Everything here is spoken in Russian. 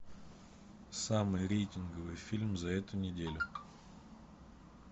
самый рейтинговый фильм за эту неделю